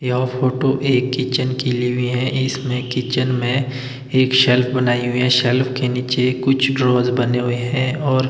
यह फोटो एक किचन की ली हुई हैं इसमें किचन में एक शेल्फ बनाई हुई है शेल्फ के नीचे कुछ ड्रॉर्स बने हुए हैं और--